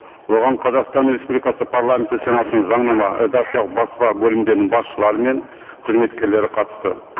оған қазақстан республикасы парламенті сенатының заңнама редакциялық баспа бөлімдерінің басшылары мен қызметкерлері қатысты